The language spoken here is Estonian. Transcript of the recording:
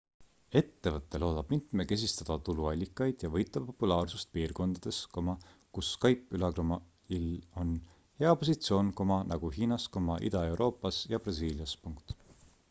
ettevõte loodab mitmekesistada tuluallikaid ja võita populaarsust piirkondades kus skype'il on hea positsioon nagu hiinas ida-euroopas ja brasiilias